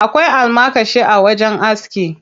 Akwai almakashi a wajen aski.